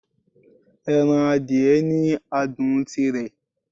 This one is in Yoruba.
Ẹran adìẹ ni adùn tirè